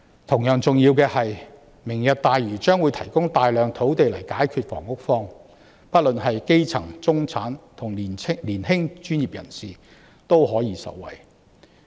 同樣重要的是，"明日大嶼願景"將會提供大量土地解決房屋荒，不論是基層、中產或年輕專業人士均可以受惠。